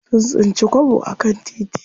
Sun tsinci kwabo a kan titi.